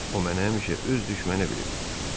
O mənə həmişə öz düşməni bilib.